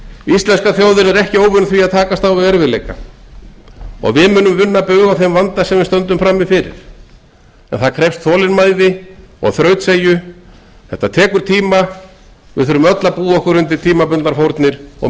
íslenska þjóðin er ekki óvön því að takast á við erfiðleika og við munum vinna bug á þeim vanda sem við stöndum frammi fyrir en það krefst þolinmæði og þrautseigju þetta tekur tíma við þurfum öll að búa okkur undir tímabundnar fórnir og